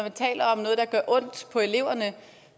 gør ondt på eleverne